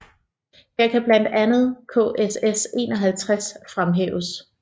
Her kan blandt andet KSS 51 fremhæves